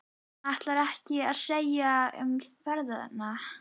Ætlarðu ekkert að segja um ferðina?